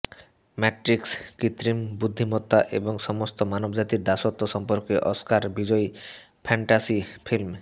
matrix কৃত্রিম বুদ্ধিমত্তা এবং সমস্ত মানবজাতির দাসত্ব সম্পর্কে অস্কার বিজয়ী ফ্যান্টাসি ফিল্ম